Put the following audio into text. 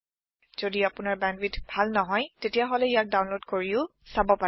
যদি আপোনাৰ বেণ্ডৱিডথ ভাল নহয় তেতিয়াহলে ইয়াক ডাউনলোড কৰিও চাব পাৰে